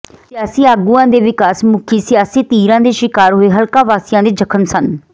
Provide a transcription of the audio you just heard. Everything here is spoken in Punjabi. ਸਿਆਸੀ ਆਗੂਆਂ ਦੇ ਵਿਕਾਸ ਮੁਖੀ ਸਿਆਸੀ ਤੀਰਾਂ ਦੇ ਸ਼ਿਕਾਰ ਹੋਏ ਹਲਕਾ ਵਾਸੀਆਂ ਦੇ ਜ਼ਖਮ ਸੰਨ